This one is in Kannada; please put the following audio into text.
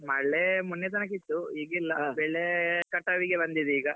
ಮಳೆ ಮೊನ್ನೆ ತನಕ ಇತ್ತು ಈಗಿಲ್ಲ ಬೆಳೆ ಕಟಾವ್ಗೆ ಬಂದಿದೆ ಈಗ.